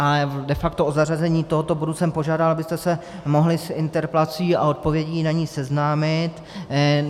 A de facto o zařazení tohoto bodu jsem požádal, abyste se mohli s interpelací a odpovědí na ni seznámit.